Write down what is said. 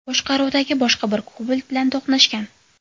boshqaruvidagi boshqa bir Cobalt bilan to‘qnashgan.